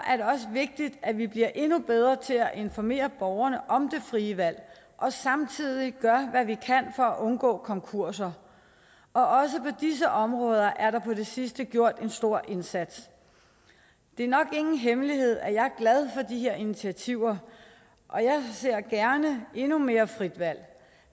vigtigt at vi bliver endnu bedre til at informere borgerne om det frie valg og samtidig gør hvad vi kan for at undgå konkurser og også på disse områder er der på det sidste gjort en stor indsats det er nok ingen hemmelighed at jeg er glad for de her initiativer og jeg ser gerne endnu mere frit valg